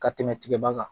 Ka tɛmɛ tigɛba kan